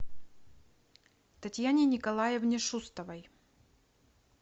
татьяне николаевне шустовой